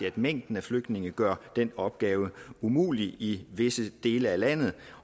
at mængden af flygtninge gør den opgave umulig i visse dele af landet